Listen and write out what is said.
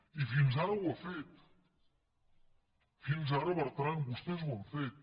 i fins ara ho ha fet fins ara bertran vostès ho han fet